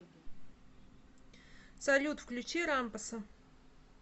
салют включи рампаса